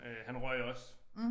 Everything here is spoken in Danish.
Øh han røg også